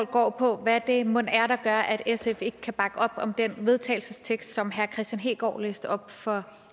går på hvad det mon er der gør at sf ikke kan bakke op om den vedtagelsestekst som herre kristian hegaard læste op for